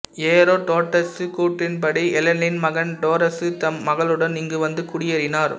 எரோடோட்டசு கூற்றின்படி ஹெலனின் மகன் டோரசு தம் மக்களுடன் இங்கு வந்து குடியேறினார்